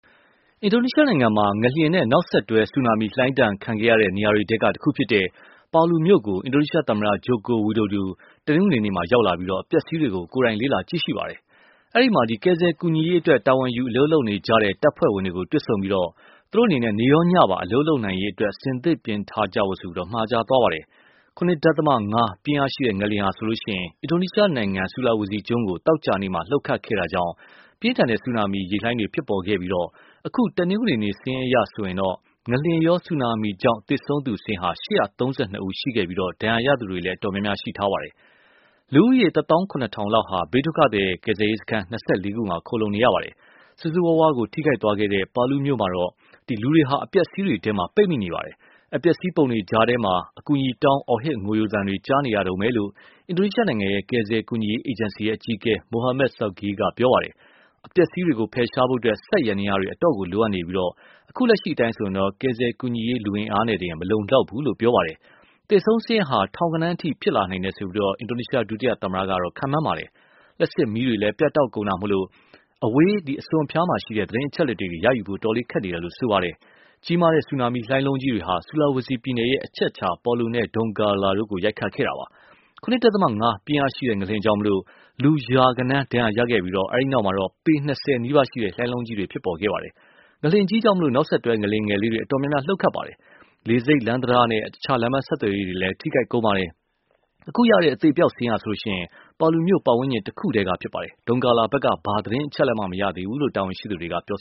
အင်ဒိုနီးရှားနိုင်ငံမှာ ငလျင်နဲ့နောက်ဆက်တွဲ ဆူနာမီလှိုင်းဒဏ်ခံခဲ့ရတဲ့နေရာတွေထဲ တခုဖြစ်တဲ့Palu မြို့ကို အင်ဒိုနီးရှားသမ္မတ Joko Widodo တနင်္ဂနွေနေ့မှာ ရောက်လာပြီး အပျက်အစီးတွေကို ကိုယ်တိုင် လေ့လာကြည့်ရှုပါတယ်။ အဲဒီမှာ ကယ်ဆယ်ကူညီရေးအတွက် တာဝန်ယူအလုပ်လုပ်နေကြတဲ့ တပ်ဖွဲ့တွေကို တွေ့ဆုံပြီး၊ နေရော ညပါ အလုပ်လုပ်နိုင်ရေး အဆင်သင့်ပြင်ထားဖို့ မှာကြားခဲ့ပါတယ်။ ၇.၅ ပြင်းအားရှိတဲ့ ငလျင်ဟာ အင်ဒိုနီးရှားနိုင်ငံ ဆူလာဝေစီကျွန်းကို သောကြာနေမှာ လှုပ်ခတ်ခဲ့တာကြောင့် ပြင်းထန်တဲ့ဆူနာမီ ရေလှိုင်းတွေဖြစ်ခဲ့ပြီး၊ အခု တနင်္ဂနွေနေ့ စာရင်းအရဆိုရင် ငလျင်ရော ဆူနာမီကြောင့် သေဆုံးသူ ၈၃၂ ဦးရှိခဲ့ပြီး ဒဏ်ရာရသူတွေလည်း အတော်များပါတယ်။ လူဦးရည် တသောင်းခုနှစ်ထောင်လောက်ဟာ ဘေးဒုက္ခသည်ကယ်ဆယ်ရေးစခန်း ၂၄ ခုမှာ ခုံလှုံနေရပါတယ် ။ ဆိုးဆိုးရွားရွား ထိခိုက်ခဲ့တဲ့ Palu မြို့မှာတော့ လူတွေဟာ အပျက်အစီးတွေထဲ ပိတ်မိနေပါတယ။် အပျက်အစီးပုံတွေကြားထဲကနေ အကူအညီတောင်း အော်ဟစ်ငိုယိုသံတွေ ကြားနေရတုန်းပဲလို့ အင်ဒိုနီရှားနိုင်ငံရဲ့ ကယ်ဆယ်ကူညီရေးအေဂျင်စီအကြီးအကဲ Muhammad Syaugi က ပြောပါတယ်။ အပျက်အစီးတွေကို ဖယ်ရှားဖို့ စက်ယန္တယားတွေအတော့်ကိုလိုအပ်နေပြီး၊ အခုလက်ရှိ ကယ်ဆယ်ကူညီရေးလူအင်အားနဲ့တင် မလုံလောက်ဘူးလို့လည်း ပြောပါတယ်။ သေဆုံးစာရင်းဟာ ထောင်ဂဏန်းအထိဖြစ်လာနိုင်တယ်လို့ ဒုသမတ Jusuf Kalla က ခန့်မှန်းပါတယ်။ လျှပ်စစ်မီးတွေလည်း ပြတ်တောက်ကုန်တာကြောင့် အဝေးအစွန်အဖျားက သတင်းအချက်အလက်တွေ ရဖို့ခက်နေတယ်လို့ ဆိုပါတယ်။ ကြီးမားတဲ့ ဆူနာမီလှိုင်းလုံးတွေဟာ Sulawesi ပြည်နယ်ရဲ့ အချက်အချာ Palu နဲ့ Donggala တို့ကို ရိုက်ခတ်ခဲ့တာပါ။ ၇.၅ ပြင်းအားရှိတဲ့ ငလျင်ကြောင့် လူရာဂဏန်း ဒဏ်ရာရခဲ့ပြီး၊ အဲဒီနောက်တော့ ပေ ၂၀နီးပါး လှိုင်းလုံးကြီးတွေ ဖြစ်ပေါ်ခဲ့ပါတယ။ငလျှင်ကြီးကြောင့် နောက်ဆက်တွဲ ငလျင်လေးတွေအတော်များများ လှုပ်ခတ်ခဲ့ပြီး၊ လေဆိပ်၊ လမ်း တံတားနဲ့ အခြားလမ်းပမ်းဆက်သွယ်ရေးတွေလည်း ထိခိုက်ကုန်ပါတယ်။ အခုရတဲ့ အသေအပျောက်စာရင်းဟာလည်း Palu မြို့ပတ်ဝန်းကျင်တခုတည်းကဖြစ်ပါတယ်။ Dongala ဖက်က ဘာမှ သတင်းအချက်အလက်မှ မရသေးဘူးလို့ တာဝန်ရှိသူတွေက ပြော